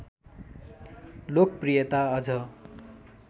लोकप्रियता अझ